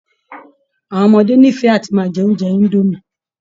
Àwọn ọmọdé nífẹ̀ẹ́ àti máa jẹ oúnjẹ indomie